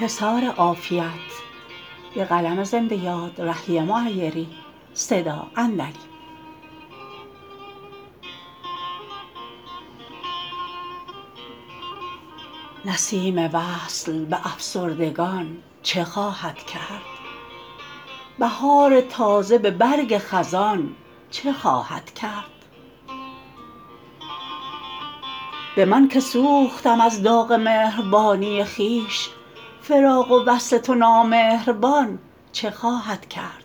نسیم وصل به افسردگان چه خواهد کرد بهار تازه به برگ خزان چه خواهد کرد به من که سوختم از داغ مهربانی خویش فراق و وصل تو نامهربان چه خواهد کرد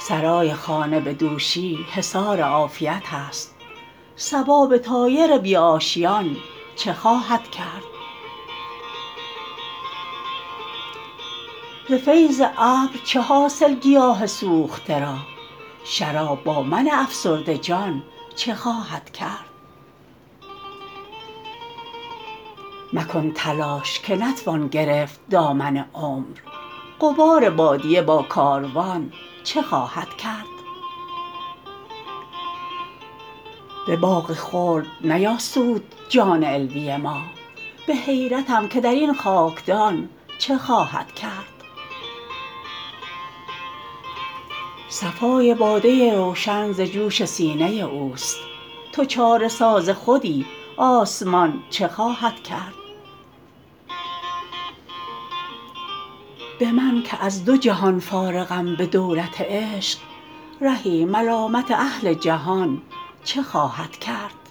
سرای خانه به دوشی حصار عافیت است صبا به طایر بی آشیان چه خواهد کرد ز فیض ابر چه حاصل گیاه سوخته را شراب با من افسرده جان چه خواهد کرد مکن تلاش که نتوان گرفت دامن عمر غبار بادیه با کاروان چه خواهد کرد به باغ خلد نیاسود جان علوی ما به حیرتم که در این خاکدان چه خواهد کرد صفای باده روشن ز جوش سینه اوست تو چاره ساز خودی آسمان چه خواهد کرد به من که از دو جهان فارغم به دولت عشق رهی ملامت اهل جهان چه خواهد کرد